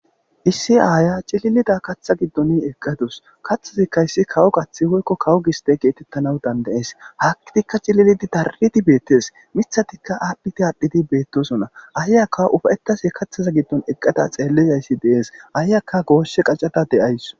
issi aaya cililida katha giddon eqqadus kaththazikkayssi kawo qathi hoykko kawu gisde geetettanawu dandayees hakkidikka cililidi darridi beettes mithatikka aadhdhiti aadhdhidi beettosona aayaka ufayetase kathaza giddon eqqada xeellizayssi dees aayakka gooshe qacada de7ays